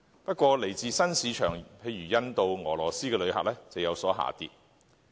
不過，來自新市場如印度、俄羅斯的旅客人數，則有所下跌。